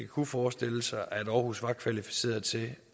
kunne forestille sig at aarhus var kvalificeret til at